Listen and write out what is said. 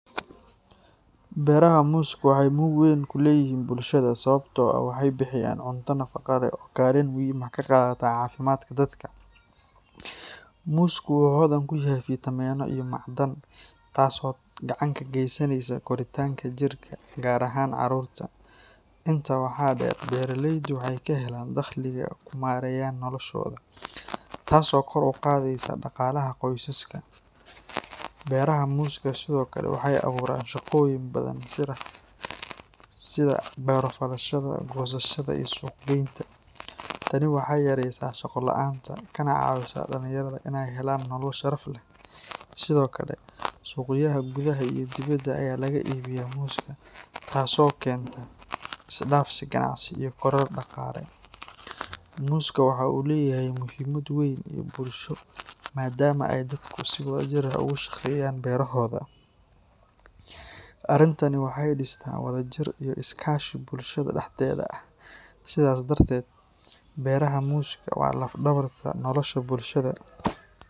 Beeraha muuska waxay muhiimad weyn ku leeyihiin bulshada sababtoo ah waxay bixiyaan cunto nafaqo leh oo kaalin muhiim ah ka qaata caafimaadka dadka. Muusku wuxuu hodan ku yahay fiitamiinno iyo macdan, taasoo gacan ka geysanaysa koritaanka jidhka, gaar ahaan carruurta. Intaa waxaa dheer, beeraleydu waxay ka helaan dakhliga ay ku maareeyaan noloshooda, taasoo kor u qaadaysa dhaqaalaha qoysaska. Beeraha muuska sidoo kale waxay abuuraan shaqooyin badan sida beero-falashada, goosashada iyo suuq-geynta. Tani waxay yareysaa shaqo la’aanta kana caawisaa dhalinyarada inay helaan nolol sharaf leh. Sidoo kale, suuqyada gudaha iyo dibadda ayaa laga iibiyaa muuska, taasoo keenta is-dhaafsi ganacsi iyo koror dhaqaale. Muuska waxa uu leeyahay muhiimad dhaqan iyo bulsho maadaama ay dadku si wadajir ah uga shaqeeyaan beerohooda. Arrintani waxay dhistaa wadajir iyo iskaashi bulshada dhexdeeda ah. Sidaas darteed, beeraha muuska waa laf-dhabarta nolosha bulshada.